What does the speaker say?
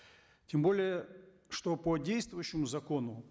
тем более что по действующему закону